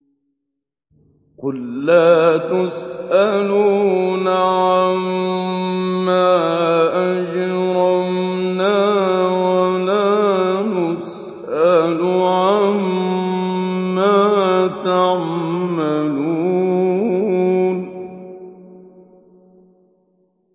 قُل لَّا تُسْأَلُونَ عَمَّا أَجْرَمْنَا وَلَا نُسْأَلُ عَمَّا تَعْمَلُونَ